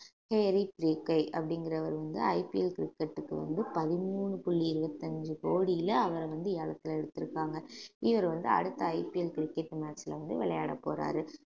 அப்படிங்கிறவர் வந்து IPL கிரிக்கெட்க்கு வந்து பதிமூணு புள்ளி இருபத்தஞ்சு கோடியில அவரை வந்து ஏலத்துல எடுத்திருக்காங்க இவர் வந்து அடுத்த IPL கிரிக்கெட் match ல வந்து விளையாடப் போறாரு